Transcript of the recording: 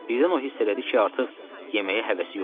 Birdən o hiss elədi ki, artıq yeməyə həvəsi yoxdur.